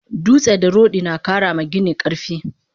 Dutse da rodi nakara ma gini karfi